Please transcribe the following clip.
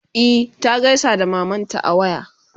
e ta gaisa da mamanta a waya.